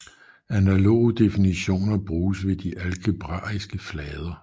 Analoge definitioner bruges ved de algebraiske flader